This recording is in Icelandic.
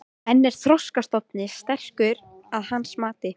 En er þorskstofninn sterkur að hans mati?